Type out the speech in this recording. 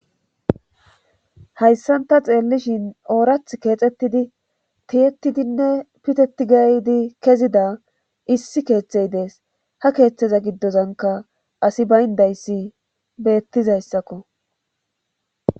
Hayssan ta xeellishin oorath keexettidi tiyetidinne pitetgaydi kezida issi keeththey dees ha keeththeza giddozanka asi bayndayssi beettizayssakko.